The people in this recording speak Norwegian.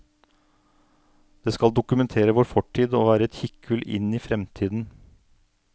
Det skal dokumentere vår fortid og være et kikkhull inn i fremtiden.